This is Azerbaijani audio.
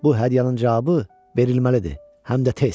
Bu hədiyyənin cavabı verilməlidir, həm də tez.